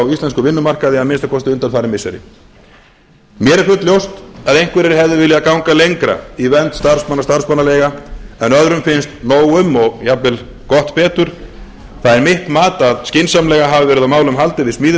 íslenskum vinnumarkaði að minnsta kosti undanfarin missiri mér er fulljóst að einhverjir hefðu viljað ganga lengra í vernd starfsmanna og starfsmannaleiga en öðrum finnst nóg um og jafnvel gott betur það er mitt mat að skynsamlega hafi verið á málum haldið við